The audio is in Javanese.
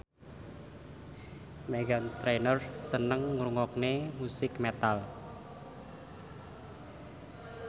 Meghan Trainor seneng ngrungokne musik metal